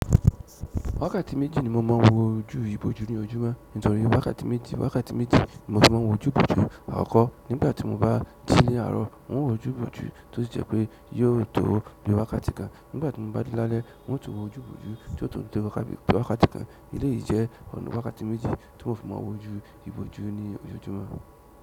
Wákàtí méjì ni mo mọ ń wo ojú ibojú ní ojúmọ́. Nítorí wákàtí méjì, wákàtí méjì mo fi má a wo ojú ibojú àkọ́kọ́ nígbàtí mo bá ji ní àárọ̀. Mo wo ojú ibojú tó ti jẹ́ pé yóò tòó bí i wákàtí kan. Nígbàtí mo bá de lálẹ́, mo tún wo ojú ibojú tí yóò tun tó wákàtí kan. Eleyìí jẹ́ ọ̀nà wákàtí méjì tí mo fi mọ ń wo ojú ibojú ní ojojúmọ́.